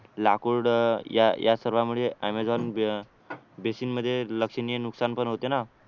लाकूड या सर्व या सर्वांमुळे ॲमेझॉन बेसिंग मध्ये लक्षणीय नुकसान पण होते ना